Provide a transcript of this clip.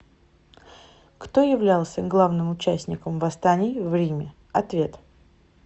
кто являлся главным участником восстаний в риме ответ